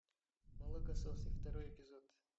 молокососы второй эпизод